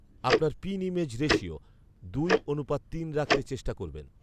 আপনার pin image ratio দুই অনুপাত তিন রাখতে চেষ্টা করবেন